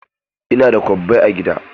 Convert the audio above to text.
Ina da kwabbai a gida.